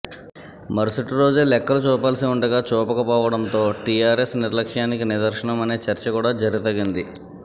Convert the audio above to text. మరుసటి రోజే లెక్కలు చూపాల్సి ఉండగా చూపకపోవడంతో టీఆర్ఎస్ నిర్లక్ష్యానికి నిదర్శనం అనే చర్చ కూడా జరితగింది